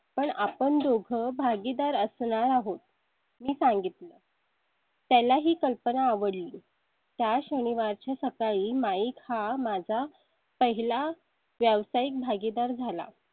पण आपण दोघं भागीदार असणार आहोत. मी सांगितले. त्याला ही कल्पना आवडली. त्या शनिवार च्या सकाळी mike हा माझा पहिला व्यावसायिक भागीदार झाला.